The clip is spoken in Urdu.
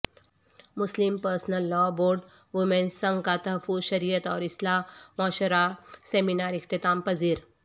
مسلم پرسنل لاء بورڈ ویمنس سنگ کا تحفظ شریعت اور اصلاح معاشرہ سیمینار اختتام پذیر